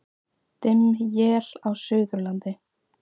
Dimm él á Suðurlandi